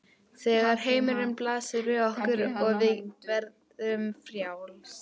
Þegar heimurinn blasir við okkur og við verðum frjáls.